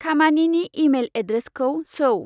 खामानिनि इमेइल एड्रेसखौ सोव